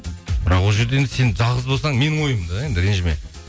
бірақ ол жерде енді сен жалғыз болсаң менің ойым да енді ренжіме